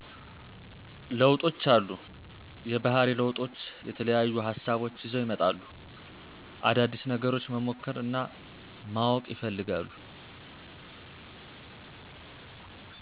ለውጦች አሉ። የባህሪ ለውጦች የተለያዩ ሀሳቦች ይዘው ይመጣሉ። አዳዲስ ነገሮች መሞከር እናማወቅ ይፈልጋሉ።